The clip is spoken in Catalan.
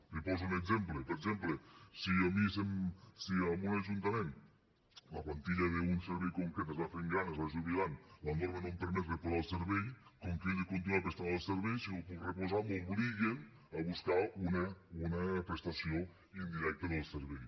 li poso un exemple per exemple si a mi si en un ajuntament la plantilla d’un servei concret es va fent gran es va jubilant la norma no em permet reposar el servei com que jo he de continuar prestant el servei si no el puc reposar m’obliguen a buscar una prestació indirecta del servei